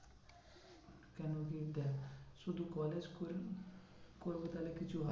কেন কি দেখ শুধু college করে করবো তাহলে কিছু